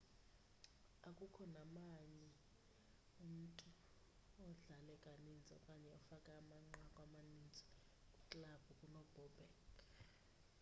akukho namnye umntu odlale kaninzi okanye ofake amanqaku amaninzi kwiklabhu kunobobek